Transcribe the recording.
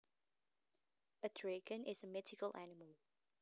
A dragon is a mythical animal